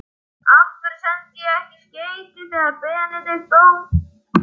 Af hverju sendi ég ekki skeyti þegar Benedikt dó?